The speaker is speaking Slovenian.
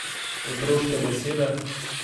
Otroške besede.